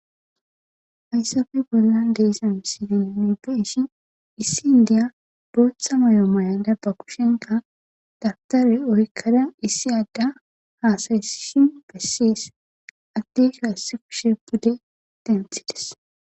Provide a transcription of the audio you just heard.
Hayisape bollan diza misilan beteshini issi inideya botha mayo mayada bakushenika dawutare oyikada issi adya hasayisishin beses adeyka issi kushe pude denithides